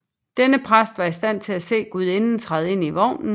Denne præst var i stand til at se gudinden træde ind i vognen